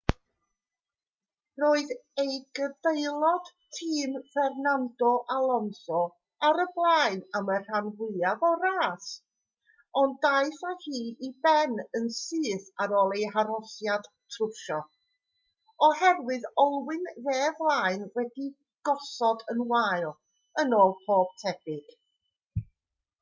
roedd ei gydaelod tîm fernando alonso ar y blaen am y rhan fwyaf o'r ras ond daeth â hi i ben yn syth ar ôl ei arhosiad trwsio oherwydd olwyn dde flaen wedi'i gosod yn wael yn ôl pob tebyg